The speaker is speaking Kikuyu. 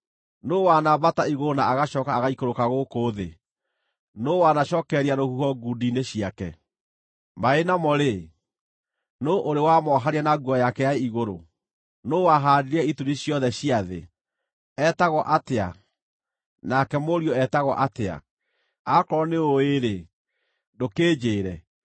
Nũũ wanambata igũrũ na agacooka agaikũrũka gũkũ thĩ? Nũũ wanacookereria rũhuho ngundi-inĩ ciake? Maaĩ namo-rĩ, nũũ ũrĩ wamoohania na nguo yake ya igũrũ? Nũũ wahaandire ituri ciothe cia thĩ? Etagwo atĩa, nake mũriũ etagwo atĩa? Akorwo nĩũũĩ-rĩ, ndũkĩnjĩĩre!